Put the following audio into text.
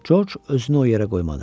Corc özünü o yerə qoymadı.